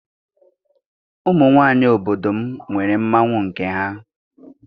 Ụmụ nwaanyị obodo m nwere mmanwụ nke ha.